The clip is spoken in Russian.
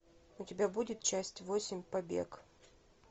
у тебя будет часть восемь побег